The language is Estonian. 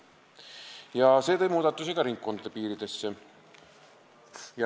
See tõi kaasa muudatusi ka ringkondade piirides.